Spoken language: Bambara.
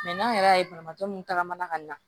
n'an yɛrɛ y'a ye banabaatɔ ta ka mana ka ɲa